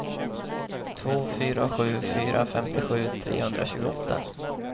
två fyra sju fyra femtiosju trehundratjugoåtta